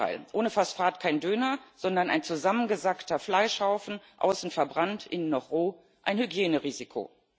Im Gegenteil Ohne Phosphat kein Döner, sondern ein zusammengesackter Fleischhaufen, außen verbrannt, innen noch roh, ein Hygienerisiko.